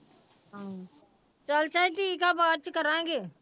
ਹਮ ਚੱਲ ਝਾਈ ਠੀਕ ਆ ਬਾਅਦ ਚ ਕਰਾਂਗੇ।